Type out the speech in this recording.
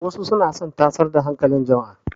Wasu suna son tasar da hankalin jama'a.